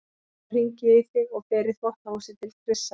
Þá hringi ég í þig og fer í þvottahúsið til Krissa.